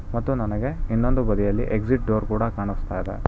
ಮತ್ತು ನನಗೆ ಇನ್ನೊಂದು ಬದಿಯಲ್ಲಿ ಎಕ್ಸಿಟ್ ಡೋರ್ ಕೂಡ ಕಾಣಿಸುತ್ತಾ ಇದೆ.